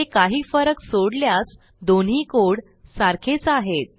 हे काही फरक सोडल्यास दोन्ही कोड सारखेच आहेत